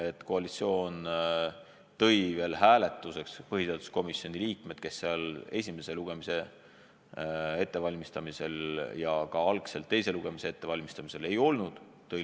Ja koalitsioon tõi põhiseaduskomisjoni istungile hääletuseks kohale inimesed, kes seal esimese lugemise ettevalmistamisel ja ka algselt teise lugemise ettevalmistamisel ei olnud.